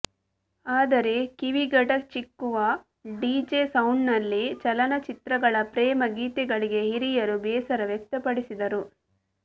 ಆದರೆ ಕಿವಿಗಡಚಿಕ್ಕುವ ಡಿಜೆ ಸೌಂಡ್ನಲ್ಲಿ ಚಲನಚಿತ್ರಗಳ ಪ್ರೇಮ ಗೀತೆಗಳಿಗೆ ಹಿರಿಯರು ಬೇಸರ ವ್ಯಕ್ತಪಡಿಸಿದರು